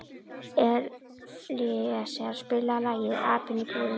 Elíeser, spilaðu lagið „Apinn í búrinu“.